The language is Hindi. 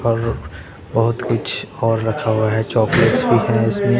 और बहोत कुछ और रखा हुआ है चॉकलेट्स भी है इसमें।